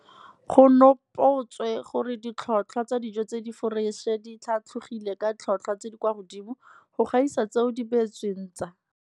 Go nopotswe gore ditlhotlhwa tsa dijo tse di foreše di tlhatlhogile ka ditlhotlhwa tse di kwa godimo go gaisa tseo di beetsweng tsa